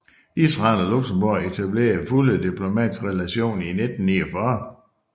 Israel og Luxembourg etablerede fulde diplomatiske relationer i 1949